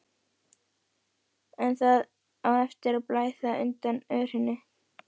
En það á eftir að blæða undan örinni.